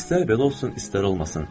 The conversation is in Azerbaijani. İstər belə olsun, istər olmasın.